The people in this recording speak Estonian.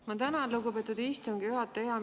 Ma tänan, lugupeetud istungi juhataja!